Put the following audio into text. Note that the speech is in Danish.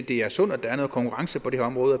det er sundt at der er noget konkurrence på det her område